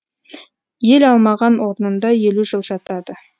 ел алмаған орнында елу жыл жатады